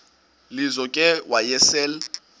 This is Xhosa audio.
lizo ke wayesel